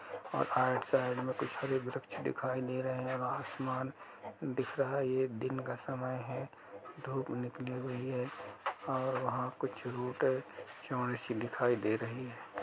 और आइड साइड में कुछ हरे वृक्ष दिखाई दे रहे हैं व आसमान दिख रहा है ये दिन का समय है धूप निकली हुई है और वहाँ कुछ चौड़ी सी दिखाई दे रही है।